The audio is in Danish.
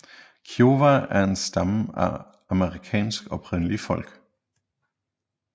Kiowa er en stamme af Amerikas oprindelige folk